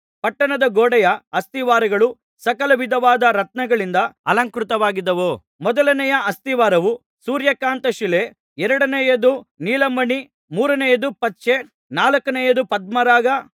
ಪಟ್ಟಣದ ಗೋಡೆಯ ಅಸ್ತಿವಾರಗಳು ಸಕಲ ವಿಧವಾದ ರತ್ನಗಳಿಂದ ಅಲಂಕೃತವಾಗಿದ್ದವು ಮೊದಲನೆಯ ಅಸ್ತಿವಾರವು ಸೂರ್ಯಕಾಂತಶಿಲೆ ಎರಡನೆಯದು ನೀಲಮಣಿ ಮೂರನೆಯದು ಪಚ್ಚೆ ನಾಲ್ಕನೆಯದು ಪದ್ಮರಾಗ